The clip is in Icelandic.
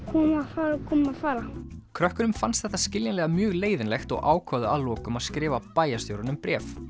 koma fara koma fara krökkunum fannst þetta skiljanlega mjög leiðinlegt og ákváðu að lokum að skrifa bæjarstjóranum bréf